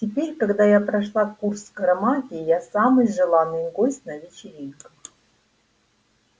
теперь когда я прошла курс скоромагии я самый желанный гость на вечеринках